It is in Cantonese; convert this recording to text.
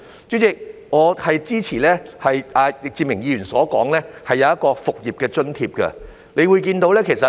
主席，我支持易志明議員所提出的建議，即提供"復業津貼"。